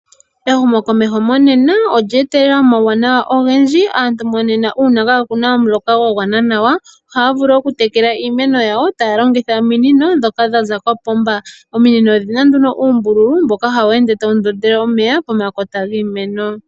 Ehumokomeho monena olya etelela omauwanawa ogendji aantu monena uuna kaakuna omuloka gwa gwana nawa ohaya vulu okutekela iimeno yawo taya longitha ominino dhoka dha za kopomba. Ominino odhina nduno uumbululu mboka hawu ende tawu ndondele omeya pomakota giimeno.